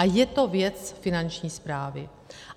A je to věc Finanční správy.